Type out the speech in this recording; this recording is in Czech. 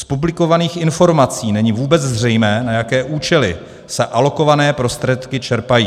Z publikovaných informací není vůbec zřejmé, na jaké účely se alokované prostředky čerpají.